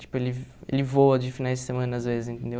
Tipo, ele ele voa de finais de semana, às vezes, entendeu?